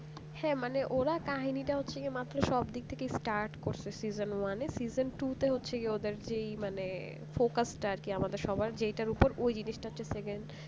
হ্যাঁ মানে ওরা কাহিনীটা হচ্ছে কি মাত্র মানে সবদিক থেকে start করতে season one মানে season two তে হচ্ছে কি মানে ওদের যেই মানে focus টা আর কি আমাদের সবার যেটা উপর ওই জিনিসটা হচ্ছে second